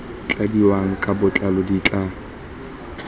tladiwang ka botlalo di tla